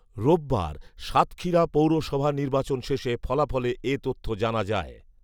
রোববার সাতক্ষীরা পৗেরসভা নির্বাচন শেষে ফলাফলে এ তথ্য জানা যায়